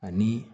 Ani